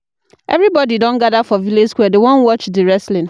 Everybodi don gather for village square, dem wan watch di wrestling.